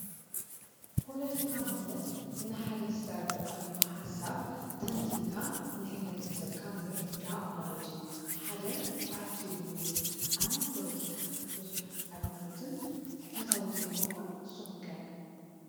ፖለቲካ ማለት ንሓደ ዝተረዳእካዮ ሓሳብ ተንቲንካ ንኅብረተሰብካ ምርዳእ ማለት እዩ። ሓደ ፓርቲ እውን እዩ። ኣነ ፖለቲካ ብዙኅ ኣድናቒትን ፈታዊትን ኣይኮንኩን ንስኹም ከ?